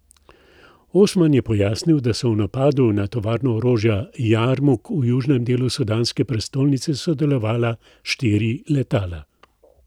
Osman je pojasnil, da so v napadu na tovarno orožja Jarmuk v južnem delu sudanske prestolnice sodelovala štiri letala.